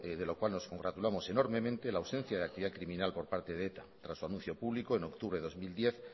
de lo cual nos congratulamos enormemente la ausencia de actividad criminal por parte de eta tras su anuncio público en octubre de dos mil diez